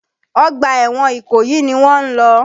Ọgbà ẹ̀wọ̀n Ìkòyí ni wọ́n ń lọ.